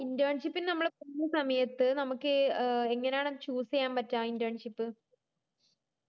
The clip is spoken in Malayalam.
internship ന് നമ്മള് പോവ്ന്ന സമയത് നമുക്ക് എങ്ങനെയാ choose ചെയ്യാന് പറ്റ internship